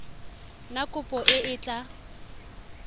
na kopo e e tla